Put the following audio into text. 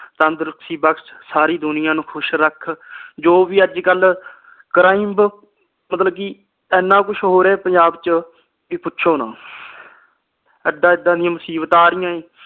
ਤੰਦਰੁਸਤੀ ਬਖ਼ਸ਼ ਸਾਰੀ ਦੁਨੀਆ ਨੂੰ ਖੁਸ਼ ਰੱਖ ਜੋ ਵੀ ਅਜਕਲ crime ਮਤਲਬ ਕੀ ਇਨ੍ਹਾਂ ਕੁਛ ਹੋ ਰਹਿਆ ਪੰਜਾਬ ਚ ਕੀ ਪੁੱਛੋਂ ਨਾਹ ਏਦਾਂ ਏਦਾਂ ਦੀਆ ਮੁਸੀਬਤਾਂ ਆ ਰਹੀਆਂ ਆ ਜੀ